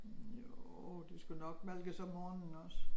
Jo de skulle nok malkes om morgenen også